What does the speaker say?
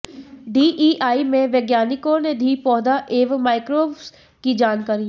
DEI में वैज्ञानिकों ने दी पौधा एवं माईक्रोब्स की जानकारी